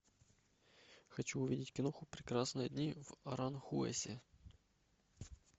хочу увидеть киноху прекрасные дни в аранхуэсе